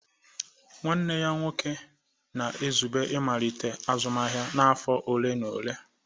Nwanne ya nwoke na-ezube ịmalite azụmahịa na afọ ole na ole.